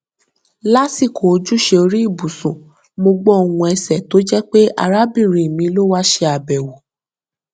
lásìkò ojúṣe orí ibùsùn mo gbọ ohùn ẹsẹ tó jẹ pé arábìnrin mi ló wá ṣe àbẹwò